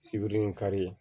Sibiri in kari